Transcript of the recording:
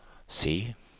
C